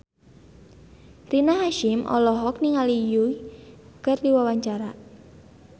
Rina Hasyim olohok ningali Yui keur diwawancara